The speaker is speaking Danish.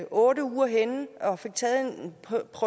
otte uger henne og fik taget en